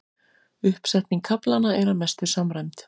Uppsetning kaflanna er að mestu samræmd